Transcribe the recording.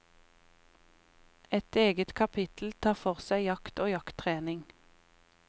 Et eget kapittel tar for seg jakt og jakttrening.